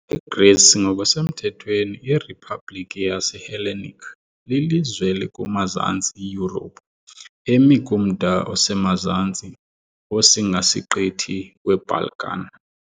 IGrisi, ngokusemthethweni iRiphabliki yaseHellenic lilizwe elikumazantsi Yurophu, emi kumda osemazantsi wosingasiqithi weBalkan .